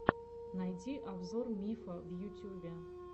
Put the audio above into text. найди обзор мифа в ютюбе